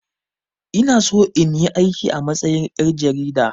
Ina so in yi aiki a matsayin ƴar jarida